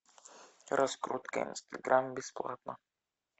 раскрутка инстаграм бесплатно